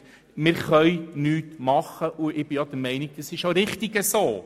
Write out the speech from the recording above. Wir können nichts machen, und ich bin der Meinung, dass das so auch richtig ist.